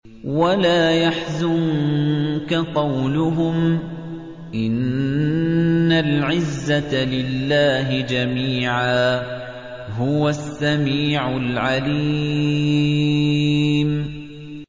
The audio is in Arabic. وَلَا يَحْزُنكَ قَوْلُهُمْ ۘ إِنَّ الْعِزَّةَ لِلَّهِ جَمِيعًا ۚ هُوَ السَّمِيعُ الْعَلِيمُ